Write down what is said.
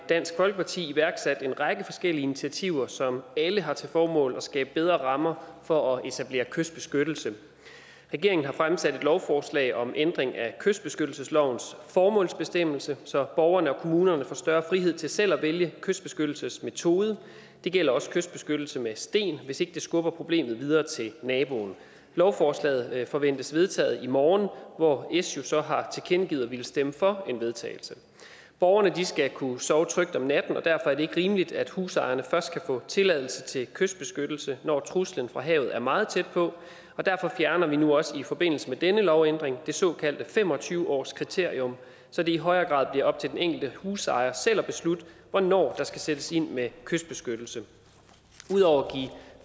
dansk folkeparti iværksat en række forskellige initiativer som alle har til formål at skabe bedre rammer for at etablere kystbeskyttelse regeringen har fremsat et lovforslag om ændring af kystbeskyttelseslovens formålsbestemmelse så borgerne og kommunerne får større frihed til selv at vælge kystbeskyttelsesmetode det gælder også kystbeskyttelse med sten hvis ikke det skubber problemet videre til naboen lovforslaget forventes vedtaget i morgen hvor s jo så har tilkendegivet at ville stemme for en vedtagelse borgerne skal kunne sove trygt om natten og derfor er det ikke rimeligt at husejerne først kan få tilladelse til kystbeskyttelse når truslen fra havet er meget tæt på og derfor fjerner vi nu også i forbindelse med denne lovændring det såkaldte fem og tyve årskriterium så det i højere grad bliver op til den enkelte husejer selv at beslutte hvornår der skal sættes ind med kystbeskyttelse ud over at